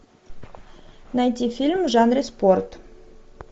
найти фильм в жанре спорт